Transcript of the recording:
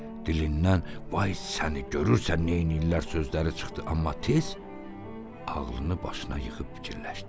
Dilindən "vay səni, görürsən neyniyirlər" sözləri çıxdı, amma tez ağlını başına yığıb fikirləşdi.